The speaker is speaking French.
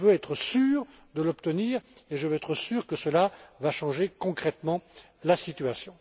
Mais je veux être sûr de l'obtenir et je veux être sûr que cela va changer concrètement la situation.